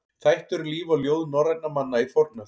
Þættir um líf og ljóð norrænna manna í fornöld.